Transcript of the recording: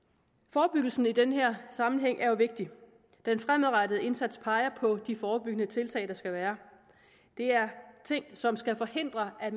forebyggelsen i den her sammenhæng er jo vigtig den fremadrettede indsats peger på de forebyggende tiltag der skal være det er ting som skal forhindre at